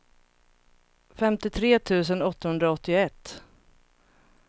femtiotre tusen åttahundraåttioett